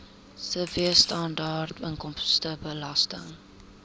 sibw standaard inkomstebelasting